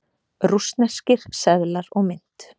Rússneskir seðlar og mynt.